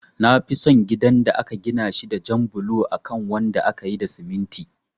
Nafi son gidan da aka gina shi da jan bulo akan wanda akayi da siminti